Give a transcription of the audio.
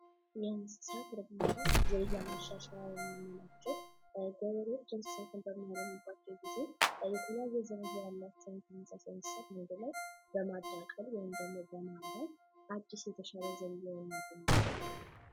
የእንሰሳት እርባታ ዝርያ ማሻሻያ የምንላቸው ገበሬዎች እንስሳትን በሚያረቡበት ጊዜ የተለያየ ዝርያ ያላቸውን እንስሳት በማዳቀል ወይም ደግሞ በማንበር አዲስ የተሻለ ዝርያ የሚያገኙበት ዘዴ ነው።